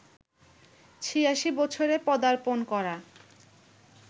৮৬ বছরে পদার্পণ করা